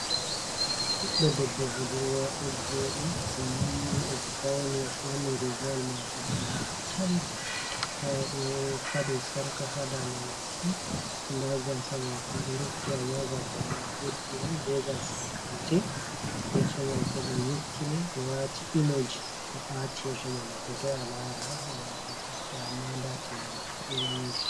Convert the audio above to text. Ɓiɗɗo debbo bodurwa, ɗo joɗi ɗo yiwi o fauni o ɓorni rigawal mako dannewol tal tao ɗo fali sarka ha daande maku nda gasa mako ɗo rufiti amma gasa do o ɓeddi on be gasakanti, yeso mako ɗo nyukkini ɓe wati imoji o ati yeso man a fotoi a lara gam a hebta amma ndatinde mako ɗo wangi.